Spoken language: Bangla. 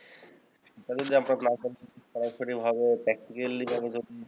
সরাসরিভাবে practically ভাবে যদি